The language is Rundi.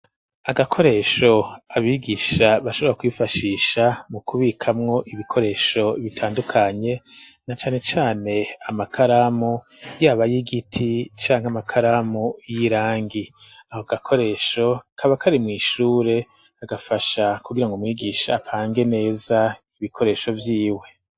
Agakoresho abigisha bashobora kubifashisha mu kubikamwo ibikoresho bitandukanye na canecane amakaramu yaba y'igiti canke amakaramu y'irangi aho agakoresho kabakari mwishure agafasha kugira ngo mwigisha apange neza ibik ikoresho vyiwe.